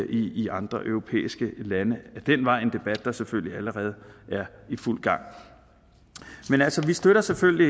i i andre europæiske lande ad den vej en debat der selvfølgelig allerede er i fuld gang men altså vi støtter selvfølgelig